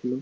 গেল